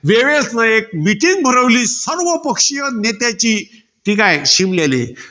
वेवेल्सने एक meeting भरवली. सर्वपक्षीय नेत्यांची. ठीकाय, शिमल्याले.